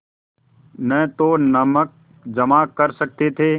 न तो नमक जमा कर सकते थे